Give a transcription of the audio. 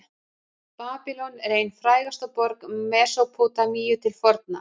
babýlon er ein frægasta borg mesópótamíu til forna